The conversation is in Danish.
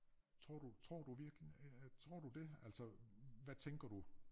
Tror du tror du virkelig øh tror du det altså hvad tænker du